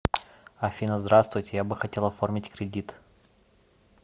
афина здравствуйте я бы хотел оформить кредит